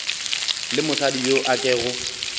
le mosadi yo a kego